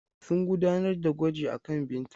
Sun gudanar da gwaji akan Binta.